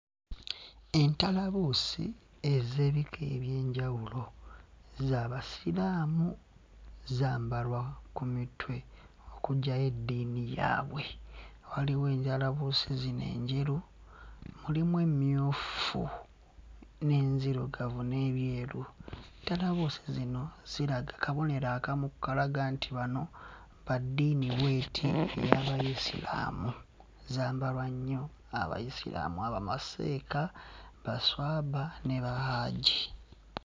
Entalabuusi ez'ebika eby'enjawulo za za Basiraamu , zambalwa ku mitwe okuggyayo eddiini yaabwe. Waliwo antabuusi zino enjeru, mulimu emmyufu n'enzirugavu n'ebyeru. Entalabuusi zino ziraga kabonero akamu akalaga nti bano ba ddiini bw'eti, ey'Abayisiraamu, zambalwa nnyo bamaseeka, baswaba ne Bahajji.